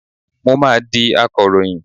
Mo máa di akọ̀ròyìn.